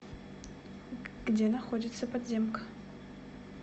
где находится подземка